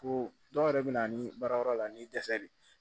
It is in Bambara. Ko dɔw yɛrɛ bɛ na ni baarayɔrɔ la ni dɛsɛ de ye